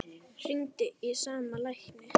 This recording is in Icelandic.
Hringdi í sama lækni